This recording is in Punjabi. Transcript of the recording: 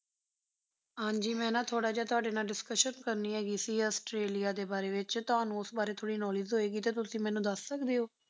ਹਾਂਜੀ ਮੈਂ ਨਾ ਥੋੜਾ ਜਿਹਾ ਤੁਹਾਡੇ ਨਾਲ discussion ਕਰਨੀ ਹੈਗੀ ਸੀ, ਆਸਟ੍ਰੇਲੀਆ ਦੇ ਬਾਰੇ ਵਿੱਚ ਤੁਹਾਨੂੰ ਉਸ ਬਾਰੇ ਥੋੜੀ knowledge ਹੋਏਗੀ ਤੇ ਤੁਸੀ ਮੈਨੂੰ ਦੱਸ ਸਕਦੇ ਹੋ